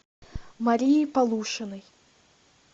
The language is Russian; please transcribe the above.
марии полушиной